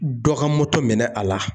Dɔ ka moto minɛ a la